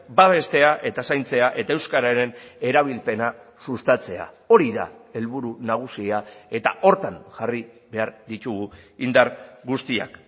babestea eta zaintzea eta euskararen erabilpena sustatzea hori da helburu nagusia eta horretan jarri behar ditugu indar guztiak